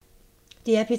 DR P3